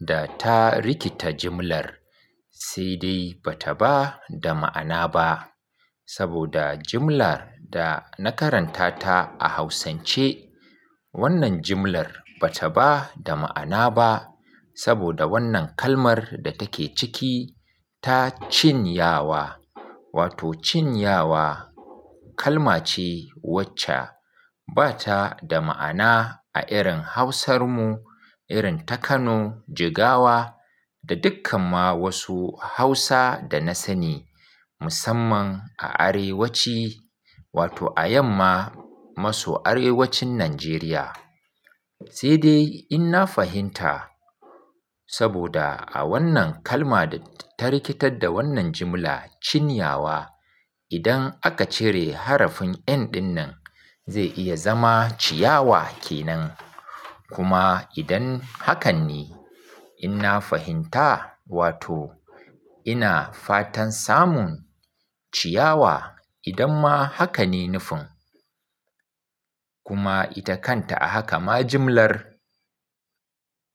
da ta rikita jimlar, sai dai ba ta ba da ma'ana ba. Saboda jimlar da na karanta ta a Hausance, wannan jimlar ba ta ba da ma'ana ba. Saboda wannan kalmar da take ciki ta cinyawa, wato cinyawa kalma ce wacce ba ta da ma'ana a irin Hausar mu, irin ta Kano, Jigawa da dukkan ma wasu Hausa da na sani musamman a arewaci, wato a yamma maso arewacin Najeriya. Sai dai in na fahimta saboda a wannan kalma da ta rikitar da wannan jimla cinyawa, idan aka cire harafin "n" ɗin nan zai iya zama ciyawa ke nan. Kuma idan hakan ne, in na fahimta, wato ina fatan samun ciyawa idan ma haka ne nufin. Kuma ita kanta a haka ma jimlar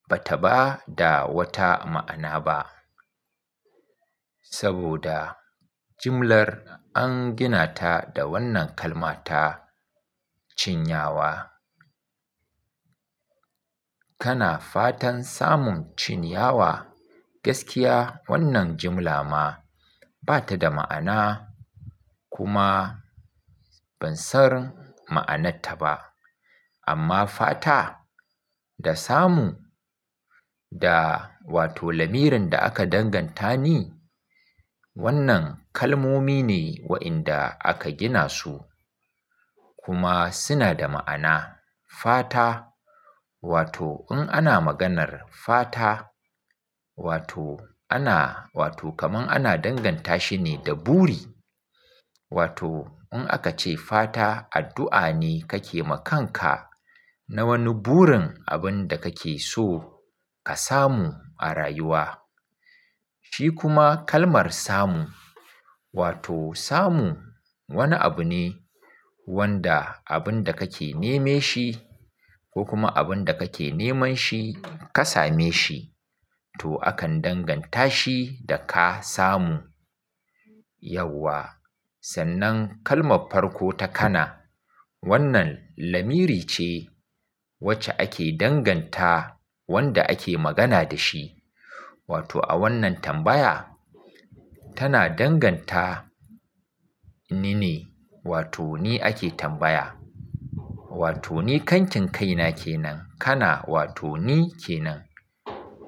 ba ta ba da wata ma'ana ba. Saboda jimlar an gina ta da wannan kalmata cinyawa. Kana fatan samun cinyawa? Gaskiya wannan jimla ma ba ta da ma'ana, kuma ban san ma'anarta ba. Amma fata da samu da wato lamirin da aka danganta ni, wannan kalmomi ne waɗanda aka gina su, kuma suna da ma'ana. Fata, wato in ana maganar fata, wato ana, wato kamar ana danganta shi ne da buri. Wato in aka ce fata, addu'a ne kake ma kanka na wani burin abin da kake so ka samu a rayuwa. Shi kuma kalmar samu, wato samu wani abu ne wanda abin da kake neme shi ko kuma abin da kake neman shi ka same shi. To, akan danganta shi da ka samu. Yauwa, sannan kalmar farko ta kana. Wannan lamiri ce wacce ake danganta wanda ake magana da shi. Wato a wannan tambaya tana danganta ni ne, wato ni ake tambaya. Wato ni kankinkai na ke nan, kana wato ni ke nan.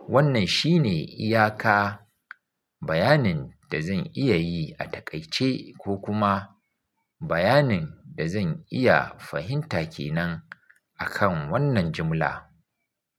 Wannan shi ne iyaka, bayanin da zan iya yi a taƙaice ko kuma bayanin da zan iya fahimta ke nan akan wannan jimla.